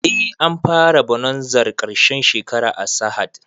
Eh an fara bonazar ƙarshen shekara a sahad